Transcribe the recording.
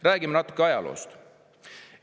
Räägime natuke ajaloost.